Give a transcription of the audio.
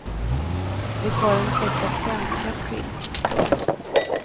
Det var en säck av sämskat skinn. punkt